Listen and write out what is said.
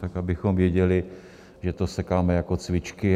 Tak abychom věděli, že to sekáme jako cvičky.